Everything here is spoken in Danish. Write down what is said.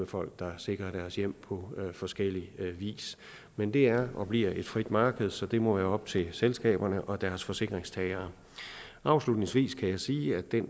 folk der sikrer deres hjem på forskellig vis men det er og bliver et frit marked så det må være op til selskaberne og deres forsikringstagere afslutningsvis kan jeg sige at det